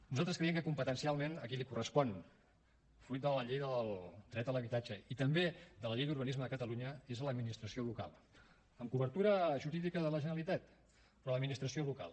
nosaltres creiem que competencialment a qui li correspon fruit de la llei del dret a l’habitatge i també de la llei d’urbanisme de catalunya és a l’administració local amb cobertura jurídica de la generalitat però a l’administració local